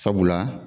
Sabula